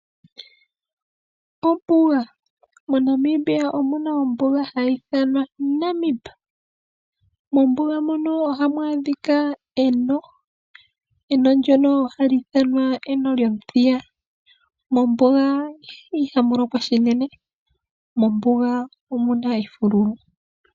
Ombuga, moNamibia omuna ombuga hayi thanwa Namibi. Mombuga mono ohamu adhika eno ndono hali ithanwa eno lyomuthiya. Mombuga ihamulokwa shinene mo omuna efululu.